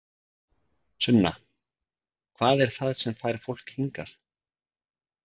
Sunna: Hvað er það sem að fær fólk hingað?